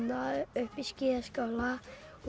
upp í skíðaskála